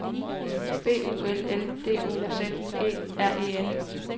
B U L L D O Z E R E N